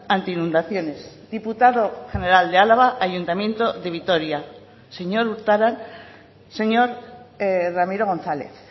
antiinundaciones diputado general de álava ayuntamiento de vitoria señor urtaran señor ramiro gonzález